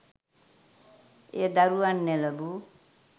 එය දරුවන් නොලැබූ